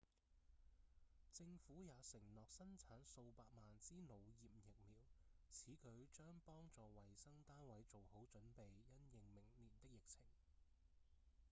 政府也承諾生產數百萬支腦炎疫苗此舉將幫助衛生單位做好準備因應明年的疫情